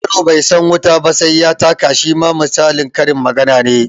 Yaro bai san wuta ba sai ya taka shima misalin karin magana ne